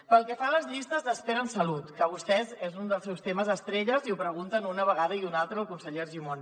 pel que fa a les llistes d’espera en salut que per a vostès és un dels seus temes estrella i ho pregunten una vegada i una altra al conseller argimon